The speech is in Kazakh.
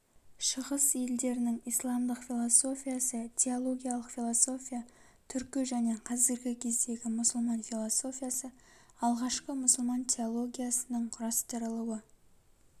шығыс елдерінің исламдық философиясы теологиялық философия түркі және қазіргі кездегі мұсылман философиясы алғашқы мұсылман теологиясының кұрастырылуы